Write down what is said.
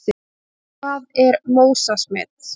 Hvað er MÓSA-smit?